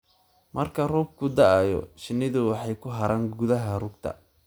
Marka roobku da'o, shinnidu waxay ku haraan gudaha rugta.